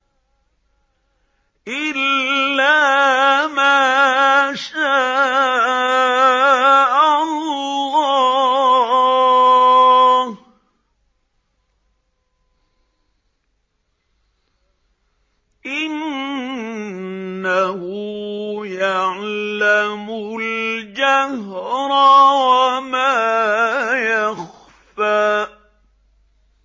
إِلَّا مَا شَاءَ اللَّهُ ۚ إِنَّهُ يَعْلَمُ الْجَهْرَ وَمَا يَخْفَىٰ